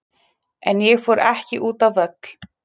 En ég fór ekki út á völl.